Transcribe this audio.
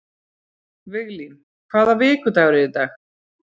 Viglín, hvaða vikudagur er í dag?